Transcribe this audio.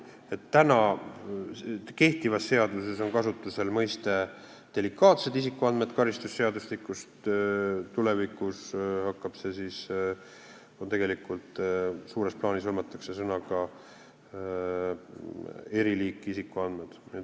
Kehtivas karistusseadustikus on kasutusel mõiste "delikaatsed isikuandmed", tulevikus hõlmatakse seda suures plaanis sõnadega "eriliiki isikuandmed".